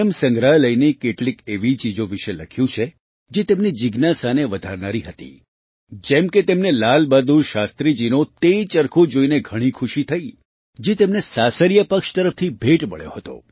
સંગ્રહાલયની કેટલીક એવી ચીજો વિશે લખ્યું છે જે તેમની જિજ્ઞાસાને વધારનારી હતી જેમ કે તેમને લાલબહાદુર શાસ્ત્રીજીનો તે ચરખો જોઈને ઘણી ખુશી થઈ જે તેમને સાસરિયા પક્ષ તરફથી ભેટ મળ્યો હતો